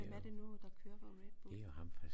Hvem er det nu der kører for Redbull?